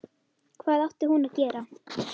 Hvað átti hún að gera?